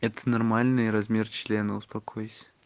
это нормальный размер члена успокойся